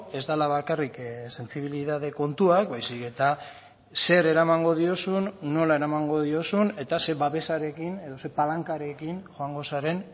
ez dela bakarrik sentsibilitate kontuak baizik eta zer eramango diozun nola eramango diozun eta ze babesarekin edo ze palankarekin joango zaren